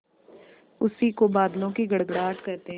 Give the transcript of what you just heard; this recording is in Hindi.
उसी को बादलों की गड़गड़ाहट कहते हैं